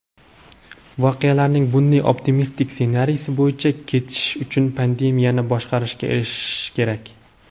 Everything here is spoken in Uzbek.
voqealarning bunday optimistik ssenariy bo‘yicha ketishi uchun pandemiyani boshqarishga erishish kerak.